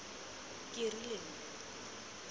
kerileng